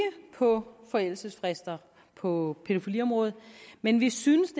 på forældelsesfrister på pædofiliområdet men vi synes